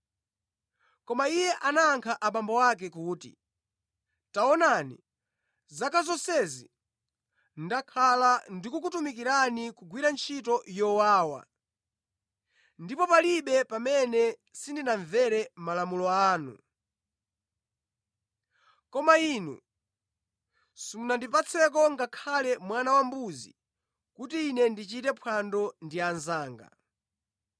Koma iye anayankha abambo ake kuti, ‘Taonani! Zaka zonsezi ndakhala ndikukutumikirani kugwira ntchito yowawa ndipo palibe pamene sindinamvere malamulo anu. Koma inu simunandipatse ngakhale mwana wambuzi kuti ine ndichite phwando ndi anzanga.